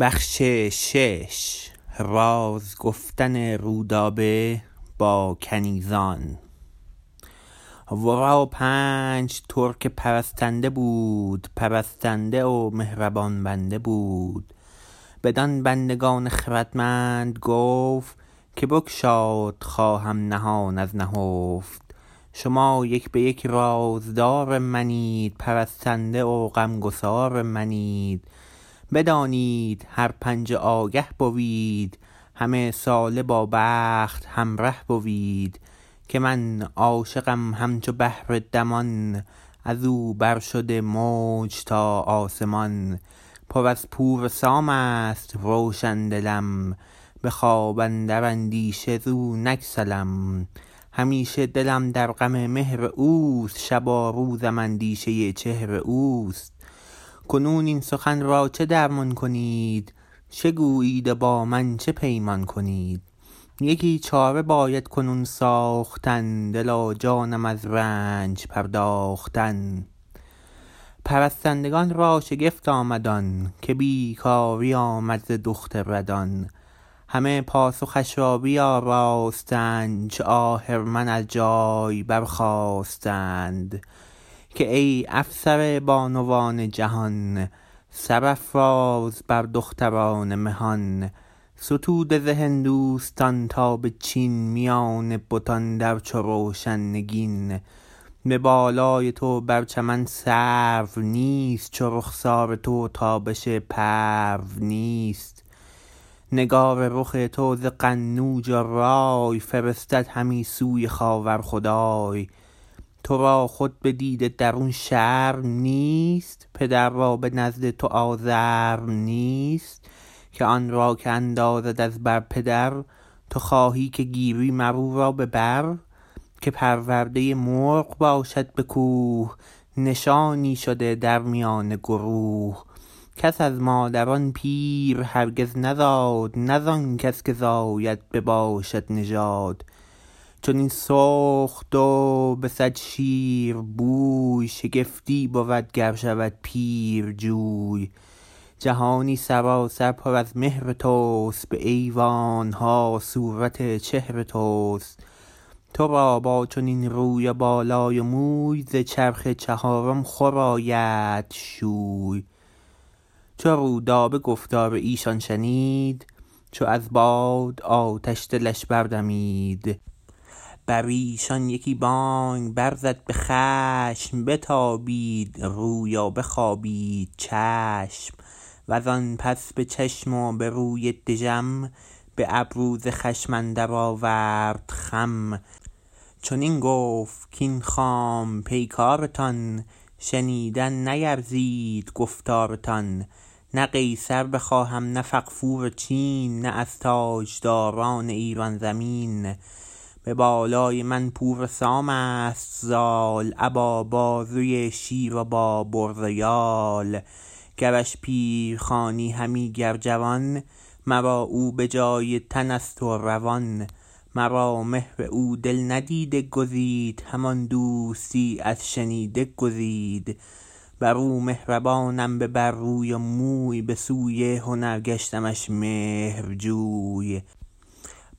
ورا پنج ترک پرستنده بود پرستنده و مهربان بنده بود بدان بندگان خردمند گفت که بگشاد خواهم نهان از نهفت شما یک به یک رازدار منید پرستنده و غمگسار منید بدانید هر پنج و آگه بوید همه ساله با بخت همره بوید که من عاشقم همچو بحر دمان از او بر شده موج تا آسمان پر از پور سامست روشن دلم به خواب اندر اندیشه زو نگسلم همیشه دلم در غم مهر اوست شب و روزم اندیشه چهر اوست کنون این سخن را چه درمان کنید چه گویید و با من چه پیمان کنید یکی چاره باید کنون ساختن دل و جانم از رنج پرداختن پرستندگان را شگفت آمد آن که بیکاری آمد ز دخت ردان همه پاسخش را بیاراستند چو اهرمن از جای برخاستند که ای افسر بانوان جهان سرافراز بر دختران مهان ستوده ز هندوستان تا به چین میان بتان در چو روشن نگین به بالای تو بر چمن سرو نیست چو رخسار تو تابش پرو نیست نگار رخ تو ز قنوج و رای فرستد همی سوی خاور خدای ترا خود به دیده درون شرم نیست پدر را به نزد تو آزرم نیست که آن را که اندازد از بر پدر تو خواهی که گیری مر او را به بر که پرورده مرغ باشد به کوه نشانی شده در میان گروه کس از مادران پیر هرگز نزاد نه ز آن کس که زاید بباشد نژاد چنین سرخ دو بسد شیر بوی شگفتی بود گر شود پیرجوی جهانی سراسر پر از مهر تست به ایوانها صورت چهر تست ترا با چنین روی و بالای و موی ز چرخ چهارم خور آیدت شوی چو رودابه گفتار ایشان شنید چو از باد آتش دلش بردمید بر ایشان یکی بانگ برزد به خشم بتابید روی و بخوابید چشم وز آن پس به چشم و به روی دژم به ابرو ز خشم اندر آورد خم چنین گفت کاین خام پیکارتان شنیدن نیرزید گفتارتان نه قیصر بخواهم نه فغفور چین نه از تاجداران ایران زمین به بالای من پور سامست زال ابا بازوی شیر و با برز و یال گرش پیر خوانی همی گر جوان مرا او به جای تنست و روان مرا مهر او دل ندیده گزید همان دوستی از شنیده گزید بر او مهربانم به بر روی و موی به سوی هنر گشتمش مهرجوی